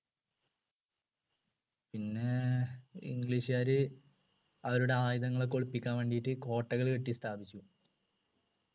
പിന്നെ english കാര് അവരുടെ ആയുധങ്ങൾ ഒക്കെ ഒളിപ്പിക്കാൻ വേണ്ടിട്ടു കോട്ടകൾ കെട്ടി സ്ഥാപിച്ചു